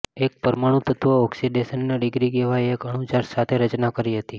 એક પરમાણુ તત્વો ઓક્સિડેશન ના ડિગ્રી કહેવાય એક અણુ ચાર્જ સાથે રચના કરી હતી